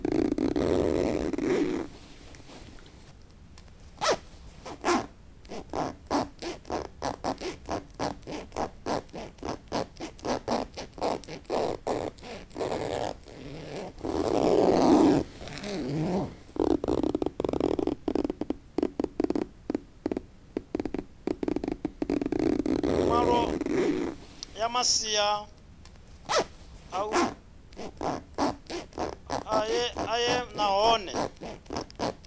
vhuḓalo ya masia oṱhe nahone